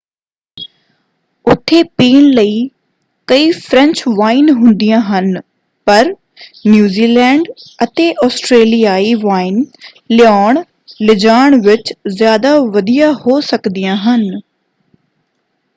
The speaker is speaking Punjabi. ਉੱਥੇ ਪੀਣ ਲਈ ਕਈ ਫ਼ਰੈਂਚ ਵਾਈਨ ਹੁੰਦੀਆਂ ਹਨ ਪਰ ਨਿਊਜ਼ੀਲੈਂਡ ਅਤੇ ਆਸਟਰੇਲੀਆਈ ਵਾਈਨ ਲਿਆਉਣ-ਲਿਜਾਣ ਵਿੱਚ ਜ਼ਿਆਦਾ ਵਧੀਆ ਹੋ ਸਕਦੀਆਂ ਹਨ।